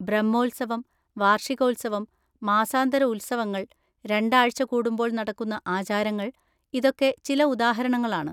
ബ്രഹ്മോത്സവം, വാർഷികോത്സവം, മാസാന്തര ഉത്സവങ്ങൾ, രണ്ടാഴ്ച കൂടുമ്പോൾ നടക്കുന്ന ആചാരങ്ങൾ, ഇതൊക്കെ ചില ഉദാഹരണങ്ങളാണ്.